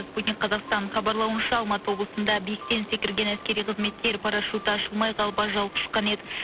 спутник қазақстан хабарлауынша алматы облысында биіктен секірген әскери қызметкер парашюті ашылмай қалып ажал құшқан еді